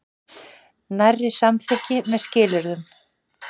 Nærri samþykki með skilyrðum